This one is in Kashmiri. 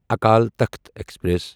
اکل تخت ایکسپریس